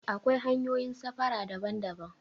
Akwai hanyoyin safara daban daban